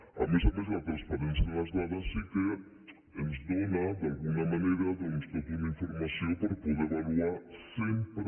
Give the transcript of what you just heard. a més a més la transparència en les dades sí que ens dóna d’alguna manera doncs tota una informació per poder avaluar sempre